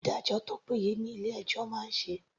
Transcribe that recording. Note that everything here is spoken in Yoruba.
Ìdájọ́ tó péye ni ilé ẹjọ́ máa ń ṣe.